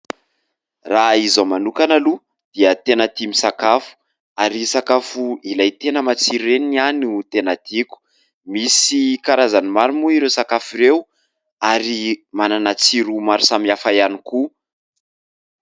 Raha izaho manokana aloha dia tena tia misakafo ary sakafo ilay tena matsiro ireny ny ahy no tena tiako, misy karazan'ny maro moa ireo sakafo ireo ary manana tsiro maro samy hafa ihany koa.